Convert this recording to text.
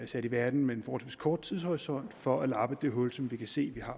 sat i verden med en forholdsvis kort tidshorisont for at lappe det hul som vi kan se vil